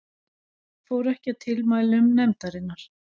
Fór ekki að tilmælum nefndarinnar